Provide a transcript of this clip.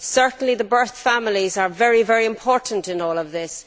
Certainly, the birth families are very important in all of this.